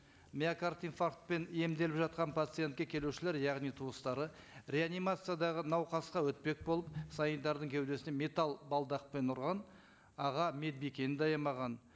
миокард инфарктпен емделіп жатқан пациентке келушілер яғни туыстары реанимациядағы науқасқа өтпек болып санитардың кеудесінен металл балдақпен ұрған аға медбикені де аямаған